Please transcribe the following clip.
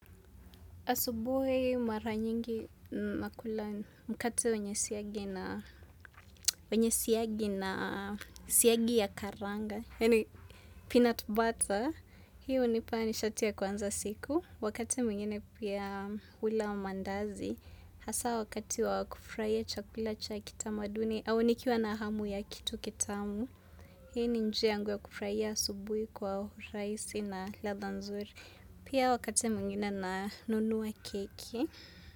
Asubuhi mara nyingi nakula mkate wenye siagi na siagi ya karanga. Yani peanut butter. Hiyo hunipa nishati ya kuanza siku. Wakati mwingine pia hula maandazi. Hasa wakati wakufurahia chakula cha kitamaduni. Au nikiwa na hamu ya kitu kitamu. Hiyo ni njia yangu ya kufurahia asubuhi kwa urahisi na ladha nzuri. Pia wakati mwingine na nunua keki.